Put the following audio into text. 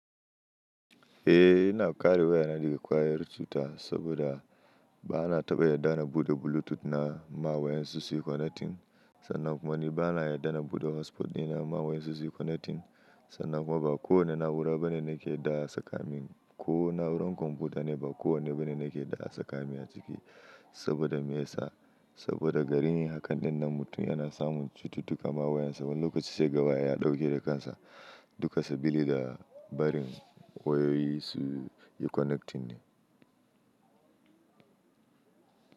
Eh ina ƙare waya na daga ƙwayar cuta saboda ba na taɓa yarda na buɗe Bluetooth na ma wayan su suyi connecting sannan kuma ni ba na yarda na buɗe hotspot di na ma wayan su suyi connecting sannan kuma ba kowane na'ura bane nake da a saka min. Ko na'urar kwamfuta ne ba kowane bane nake da a saka min a ciki saboda me yasa? Saboda garin yi hakan ɗin nan mutum yana samun cututtuka ma wayan sa wani lokaci sai kaga waya ɗauke da kansa duka sabili da barin wayoyi su yi connecting ne.